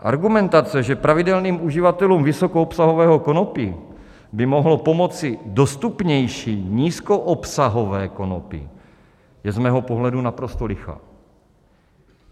Argumentace, že pravidelným uživatelům vysokoobsahového konopí by mohlo pomoci dostupnější nízkoobsahové konopí, je z mého pohledu naprosto lichá.